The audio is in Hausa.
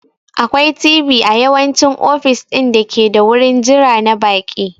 Akwai TV a yawanci ofis ɗin dake da wurin jira na baƙi..